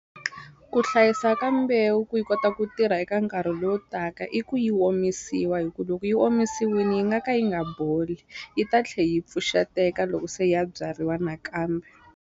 Ku hlayisa ka mbewu ku yi kota ku tirha eka nkarhi lowu taka i ku yi omisiwa hi ku loko yi omisiwini yi nga ka yi nga boli yi ta tlhe yi pfuxeteka loko se ya byariwa nakambe.